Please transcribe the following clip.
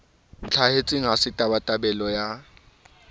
ntlhahetseng ha se tabatabelo ya